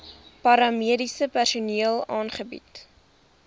paramediese personeel aangebied